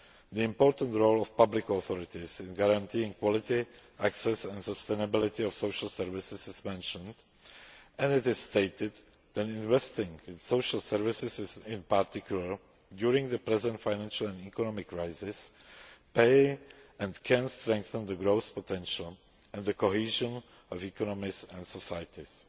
as well. The important role of public authorities in guaranteeing quality, access and sustainability of social services is mentioned and it is stated that investing in social services, in particular during the present financial and economic crisis, pays and can strengthen the growth potential and the cohesion of economies and societies.